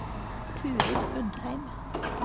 Turid Undheim